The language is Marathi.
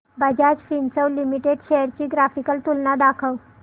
बजाज फिंसर्व लिमिटेड शेअर्स ची ग्राफिकल तुलना दाखव